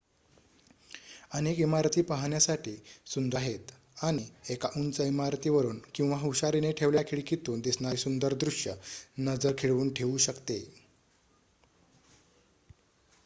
अनेक इमारती पाहण्यासाठी सुंदर आहेत आणि एका उंच इमारतीवरुन किंवा हुशारीने ठेवलेल्या खिडकीतून दिसणारे सुंदर दृश्य नजर खिळवून ठेवू शकते